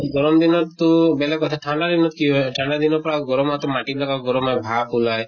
গৰম দিনত টো বেলেগ কথা ঠান্ডা দিনত কি হয় ঠান্ডা দিনত পৰা গৰম আহাতো মাটি বিলাকৰ পৰা গৰম এ ভাপ ওলায়